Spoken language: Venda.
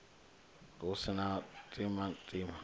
hu si na u timatima